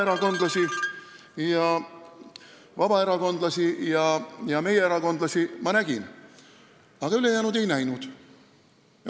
Ma nägin vabaerakondlasi ja meie erakondlasi, aga ülejäänuid ei näinud.